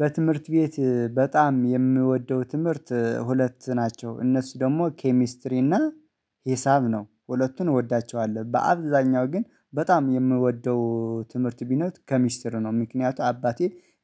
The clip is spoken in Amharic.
በትምህርት ቤት በጣም የምወደው ትምህርት ሁለት ናቸው እነሱ ደግሞ ኬሚስትሪ እና ሂሳብ ነው። ሁለቱን እወዳቸዋለሁ በአብዛኛው ግን በጣም የምወደው ትምህርት ቢኖር ኬሚስትር ነው። ምክንያቱ አባቴ